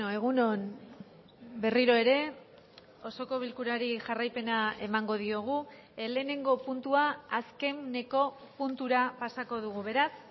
egun on berriro ere osoko bilkurari jarraipena emango diogu lehenengo puntua azkeneko puntura pasako dugu beraz